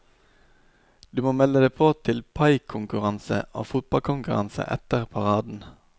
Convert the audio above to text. Du må melde deg på til paikonkurranse og fotballkonkurranse etter paraden.